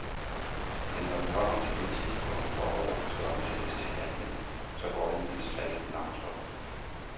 Men når vi kommer til det tidspunkt, hvor ordene skal omsættes til handling, så går det mildest talt langsomt.